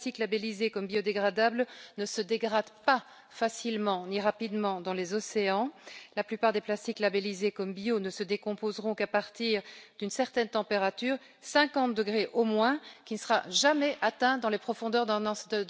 Les plastiques labélisés comme biodégradables ne se dégradent pas facilement ni rapidement dans les océans, la plupart des plastiques labélisés comme bio ne se décomposeront qu'à partir d'une certaine température, 50 degrés au moins, qui ne sera jamais atteinte dans les profondeurs d'un océan